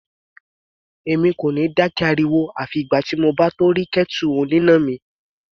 Èmi kò ní dákẹ́ ariwo àfi ìgbà tí mo bá tó rí kẹ́tù oníná mi.